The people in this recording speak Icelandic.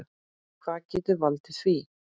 Hvað getur valdið því?